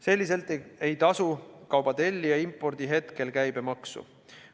Sellisel juhul ei tasu kauba tellija impordi hetkel käibemaksu.